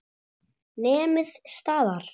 Nemið staðar!